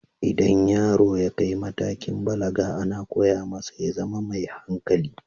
Idan yaro ya kai matakin balaga, ana koya masa ya zama mai hankali.